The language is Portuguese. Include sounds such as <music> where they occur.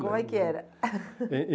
Como é que era? <laughs>